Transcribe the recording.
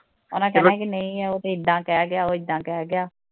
ਉਹਨਾਂ ਕਹਿਣਾ ਕਿ ਨਹੀ ਉਹ ਤਾਂ ਐਦਾ ਕਹਿ ਗਿਆ ਉਹ ਐਦਾ ਕਹਿ ਗਿਆ।